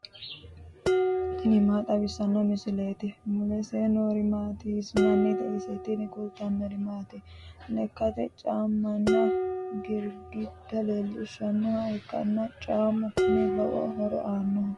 tini maa xawissanno misileeti ? mulese noori maati ? hiissinannite ise ? tini kultannori mannu lekka, caammanna girgidda leellishshannoha ikkanna caammu kuni lowo horo aannoho.